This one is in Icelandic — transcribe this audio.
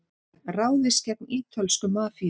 Ráðist gegn ítölsku mafíunni